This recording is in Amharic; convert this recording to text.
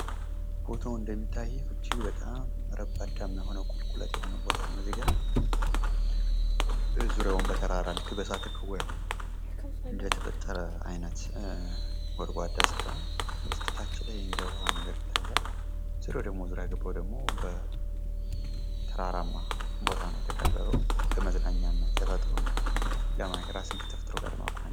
ቦታው እንደሚታየው እጅግ በጣም ረባዳማ የሆነ ቁልቁለት ቦታ ነው። እዚጋ ዙሪያውም በተራራ ልክ በእሳተ ገሞራ እንደተፈጠረ አይነት ጎድጓዳ ስፍራ እታች ላይ እንደ ውሃ ነገር ይታያል ዙሪያ ተራራ ቦታ ላይ የተከበረው ለመዝናኛና ተፈጥሮን ለማየት ራስን ከተፈጥሮ ጋ ለማቆራኘት ።